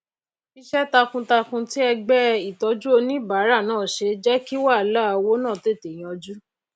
isé takun takun tí ẹgbé ìtójú oníbàárà náà se jé kí wàhálà owó náà tètè yanjú